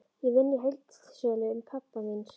Ég vinn í heildsölu pabba míns.